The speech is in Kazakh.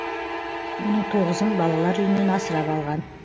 оның тоғызын балалар үйінен асырап алған